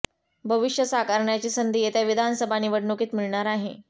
भविष्य साकारण्याची संधी येत्या विधानसभा निवडणुकीत मिळणार आहे